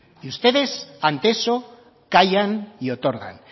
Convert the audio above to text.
y ustedes ante eso callan y otorgan